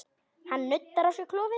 Hann nuddar á sér klofið.